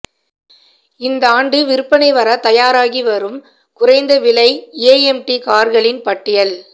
இந்தாண்டு விற்பனை வர தயாராகி வரும் குறைந்த விலை ஏஎம்டி கார்களின் பட்டியல்